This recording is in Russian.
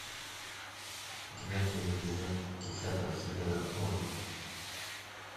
девятый эпизод десятого сезона орвилл